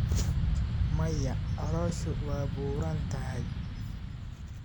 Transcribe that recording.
Maya, calooshu waa buuran tahay.